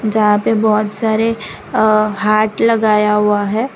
जँहा पे बहोत सारे हार्ट लगाया हुआ है।